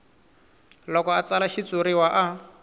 loko a tsala xitshuriwa a